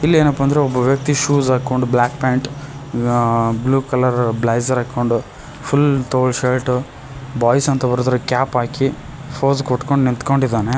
ಇಲ್ಲೇನಪ್ಪಾ ಅಂದ್ರೆ ಒಬ್ಬ ವ್ಯಕ್ತಿ ಶೂಸ್ ಹಾಕೊಂಡ್ black pant blue colour blazer ಹಾಕೊಂಡು ಫುಲ್ ತೋಳು ಶರ್ಟು ಬಾಯ್ಸ್ ಅಂತ ಬರೆದಿರುವ ಕ್ಯಾಪ್ ಹಾಕಿ ಪೋಸ್ ಕೊಟ್ಕೊಂಡ್ ನಿಂತ್ಕೊಂಡಿದ್ದಾನೆ.